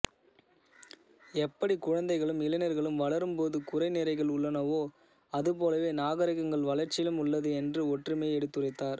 எப்படி குழந்தைகளும் இளைஞா்களும் வளரும் போது குறை நிறைகள் உள்ளனவோ அதுபோலவே நாகரிகங்கள் வளா்ச்சியிலும் உள்ளது என்ற ஒற்றுமையை எடுத்துரைத்தாா்